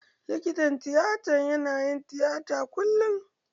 Likitan tiyata na yin tiyata kullum.